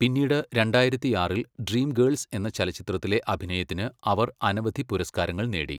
പിന്നീട് രണ്ടായിരത്തിയാറിൽ ഡ്രീംഗേൾസ് എന്ന ചലച്ചിത്രത്തിലെ അഭിനയത്തിന് അവർ അനവധി പുരസ്കാരങ്ങൾ നേടി.